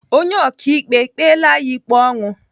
Onye ọkaikpe kpela ya ikpe ọnwụ?